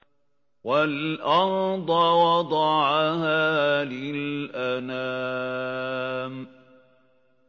وَالْأَرْضَ وَضَعَهَا لِلْأَنَامِ